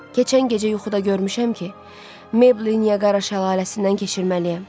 Keçən gecə yuxuda görmüşəm ki, Meyblı Niyəqara şəlaləsindən keçirməliyəm.